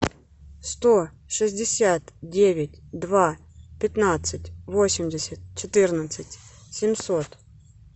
сто шестьдесят девять два пятнадцать восемьдесят четырнадцать семьсот